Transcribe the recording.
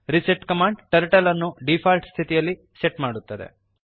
reset command turtle ಅನ್ನು default ಸ್ಥಿತಿಯಲ್ಲಿ set ಮಾಡುತ್ತದೆ